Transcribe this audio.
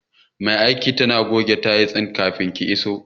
Mai aikin tana goge tayil din kafin ki iso.